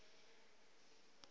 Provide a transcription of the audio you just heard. go be go se yoo